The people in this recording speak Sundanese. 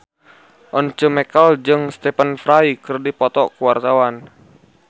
Once Mekel jeung Stephen Fry keur dipoto ku wartawan